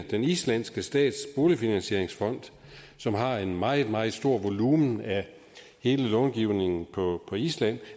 den islandske stats boligfinansieringsfond som har en meget meget stor volumen af hele långivningen på island